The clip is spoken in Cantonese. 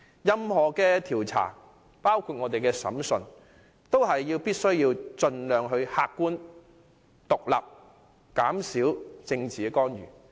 任何調查都必須盡量客觀、獨立及減少政治干預。